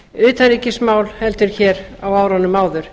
utanríkismál heldur en hér á árunum áður